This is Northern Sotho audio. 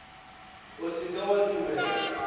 o se ke wa dumela